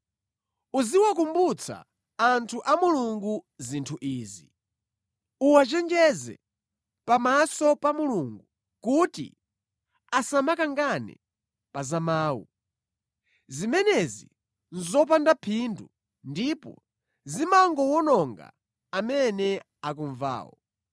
Uziwakumbutsa anthu a Mulungu zinthu izi. Uwachenjeze pamaso pa Mulungu kuti asamakangane pa za mawu. Zimenezi nʼzopanda phindu ndipo zimangowononga amene akumvawo.